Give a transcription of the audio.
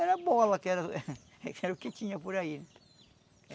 Era bola, que era uh era o que tinha por aí.